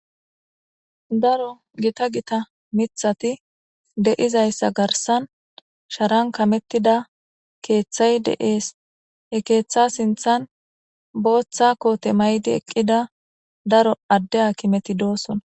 Daro gita gita mithati de'izaysa garsan sharan kametida keethay de'es he keetha sinthan bootha koote mayidi eqida daro ade haakimeti de'osona.